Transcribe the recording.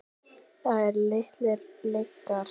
Það eru litlar lygar.